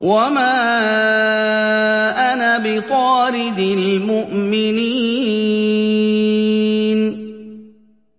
وَمَا أَنَا بِطَارِدِ الْمُؤْمِنِينَ